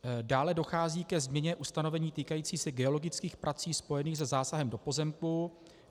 Dále dochází ke změně ustanovení týkající se geologických prací spojených se zásahem do pozemku.